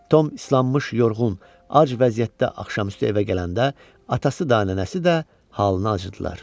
Tom islanmış, yorğun, ac vəziyyətdə axşamüstü evə gələndə, atası da nənəsi də halına acıdılar.